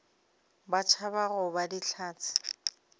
ba tšhaba go ba dihlatse